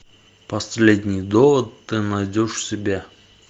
последний довод ты найдешь в себе